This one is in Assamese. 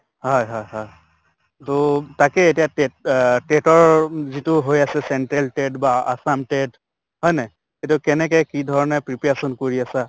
হয় হয় হয় । তʼ তাকে এতিয়া TET অহ TET ৰ উম যিটো হৈ আছে central TET বা assam TET হয় নে নাই? এইটো কেনেকে কি ধৰণে preparation কৰি আছা?